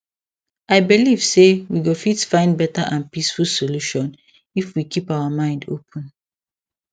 i believe say we go fit find better and peaceful solution if we keep our mind open